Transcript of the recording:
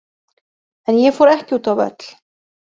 En ég fór ekki út á völl.